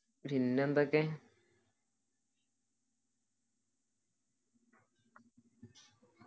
പിന്നെ എന്തൊക്കെ